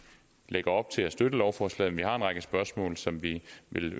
lægger op til at støtte lovforslaget men vi har en række spørgsmål som vi